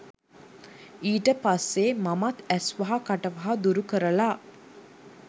ඊට පස්සේ මමත් ඇස්වහ කටවහ දුරු කරලා